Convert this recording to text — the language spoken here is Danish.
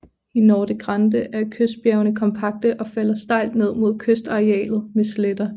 I Norte Grande er kystbjergene kompakte og falder stejlt ned mod kystarealet med sletter